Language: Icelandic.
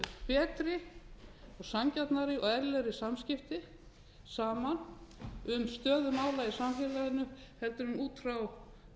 betri og sanngjarnari og eðlilegri samskipti saman um stöðu mála í samfélaginu heldur en út frá svona mér liggur